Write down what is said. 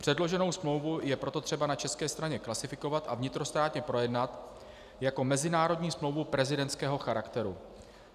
Předloženou smlouvu je proto třeba na české straně klasifikovat a vnitrostátně projednat jako mezinárodní smlouvu prezidentského charakteru.